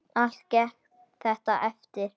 Allt gekk þetta eftir.